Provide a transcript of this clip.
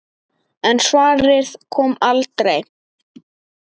En svarið kom aldrei.